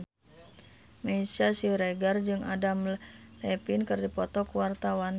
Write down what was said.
Meisya Siregar jeung Adam Levine keur dipoto ku wartawan